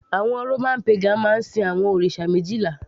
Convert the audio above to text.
àwọn Roman pagan máa ń sin àwọn òrìṣà méjìlá